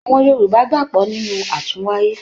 Àwọn Yorùbá gbàgbọ́ nínú àtúnwáyé.